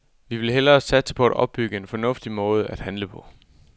Vi vil hellere satse på at opbygge en fornuftig måde at handle på.